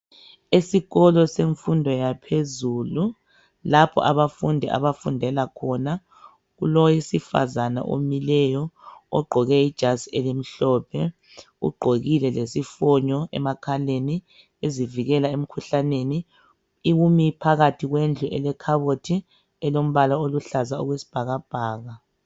Ezikolo semfundo yaphezulu lapho abafundi abafundela khona. Kulowesifazana omileyo ogqoke ijazi elimhlophe. Ugqokile lesifonyo emakhaleni. Ezivikela emikhuhlaneni. Umi phakathi kwendlu elekhabothi elombala wesibhakabhaka.